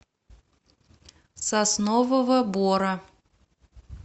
соснового бора